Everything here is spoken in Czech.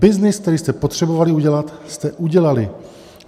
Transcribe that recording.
Byznys, který jste potřebovali udělat, jste udělali.